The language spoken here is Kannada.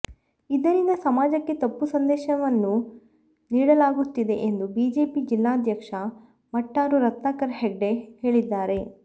ಇದರಿಂದ ಸಮಾಜಕ್ಕೆ ತಪ್ಪು ಸಂದೇಶವನ್ನು ನೀಡಲಾಗುತ್ತಿದೆ ಎಂದು ಬಿಜೆಪಿ ಜಿಲ್ಲಾಧ್ಯಕ್ಷ ಮಟ್ಟಾರು ರತ್ನಾಕರ ಹೆಗ್ಡೆ ಹೇಳಿದ್ದಾರೆ